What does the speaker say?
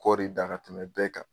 Kɔɔri dan ka tɛmɛn bɛɛ kan.